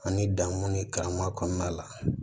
Ani dan mun ni karama kɔnɔna la